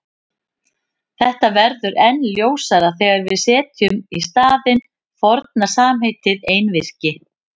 Þetta verður enn ljósara þegar við setjum í staðinn forna samheitið einvirki.